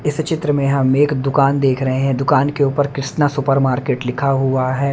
इस चित्र में हम एक दुकान देख रहे हैं दुकान के ऊपर कृष्णा सुपरमार्केट लिखा हुआ है।